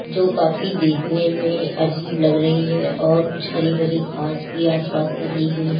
जो काफी देखने में अजीब लग रही है और कुछ हरी भरी घास भी आसपास लगी हुई है।